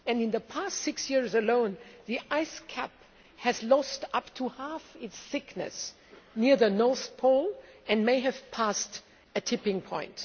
In the past six years alone, the ice cap has lost up to half its thickness near the North Pole and may have passed a tipping point.